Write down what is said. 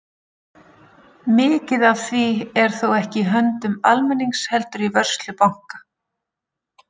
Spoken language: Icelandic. Mikið af því er þó ekki í höndum almennings heldur í vörslu banka.